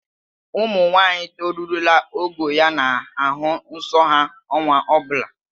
Ụmụnwaanyị torurula ogo ya na-ahụ nsọ ha ọnwa ọ bụla